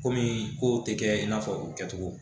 Komi kow tɛ kɛ i n'a fɔ u kɛcogo